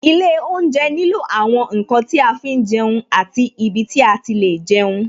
Ilé oúnjẹ nílò àwọn ǹkan tí a fi ń jẹun àti ibi tí a ti lè jẹun